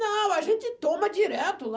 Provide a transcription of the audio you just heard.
Não, a gente toma direto lá.